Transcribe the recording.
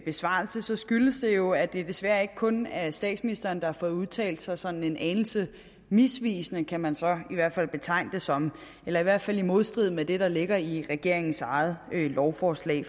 besvarelse skyldes det jo at det desværre ikke kun er statsministeren der har fået udtalt sig sådan en anelse misvisende kan man så i hvert fald betegne det som eller i hvert fald i modstrid med det der ligger i regeringens eget lovforslag